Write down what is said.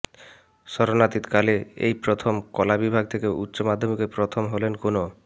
স্মরণাতীত কালে এই প্রথম কলা বিভাগ থেকে উচ্চ মাধ্যমিকে প্রথম হলেন কোনও